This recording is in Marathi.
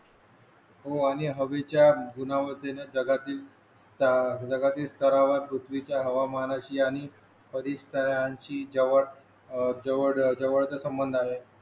हो आणि हवेच्या गुनावतीने जगातील स्तरा जगातील स्तरावर पृथ्वीच्या हवामानाशी आणि परीसराशी जवळ जवळचा संबंध आहे